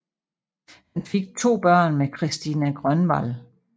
Han fik to børn med Christina Grönvall